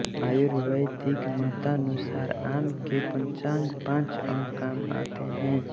आर्युर्वैदिक मतानुसार आम के पंचांग पाँच अंग काम आते हैं